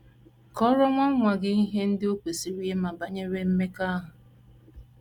Kọọrọ Nwa Nwa Gị Ihe Ndị O Kwesịrị Ịma Banyere Mmekọahụ